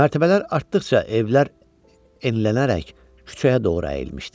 Mərtəbələr artdıqca evlər enlənərək küçəyə doğru əyilmişdi.